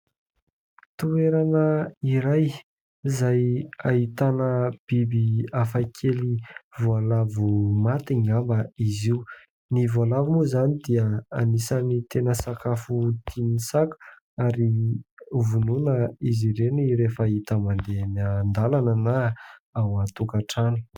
Toerana iray izay ahitana biby hafakely, voalavo maty angamba izy io. Ny voalavo moa izany dia anisan'ny tena sakafo tian'ny saka ary hovonoina izy ireny rehefa hita mandeha eny an-dalana na ao an-tokantrano.